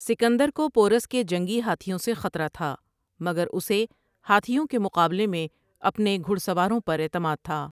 سکندر کو پورس کے جنگی ہاتھیوں سے خطرہ تھا مگر اسے ہاتھیوں کے مقابلے میں اپنے گھڑ سواروں پر اعتماد تھا ۔